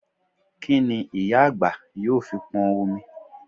Kí n ìyá àgbà yóò fi pọn omi?